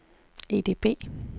EDB